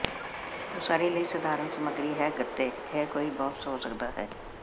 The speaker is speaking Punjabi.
ਉਸਾਰੀ ਲਈ ਸਧਾਰਨ ਸਮੱਗਰੀ ਹੈ ਗੱਤੇ ਇਹ ਕੋਈ ਬਾਕਸ ਹੋ ਸਕਦਾ ਹੈ